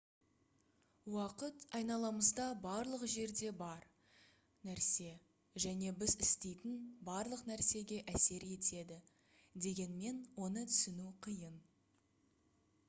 уақыт айналамызда барлық жерде бар нәрсе және біз істейтін барлық нәрсеге әсер етеді дегенмен оны түсіну қиын